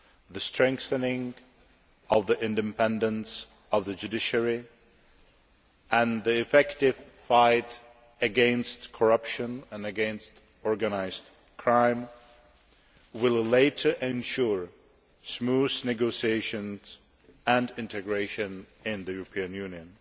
the strengthening of the independence of the judiciary and the effective fight against corruption and against organised crime, will later ensure smooth negotiations and integration into the European Union.